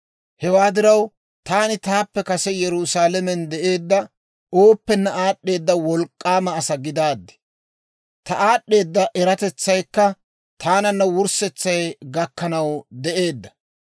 Hewaa diraw, taani taappe kase Yerusaalamen de'eedda ooppenne aad'd'eeda wolk'k'aama asaa gidaaddi. Ta aad'd'eeda eratetsaykka taananna wurssetsay gakkanaw de'eedda.